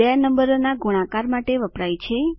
બે નંબરોના ગુણાકાર માટે વપરાય છે